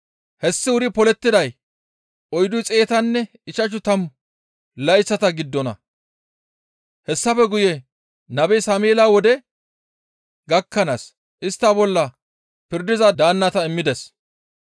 Hessi wuri polettiday oyddu xeetanne ichchashu tammu layththata giddona; hessafe guye nabe Sameela wode gakkanaas istta bolla pirdiza daannata immides.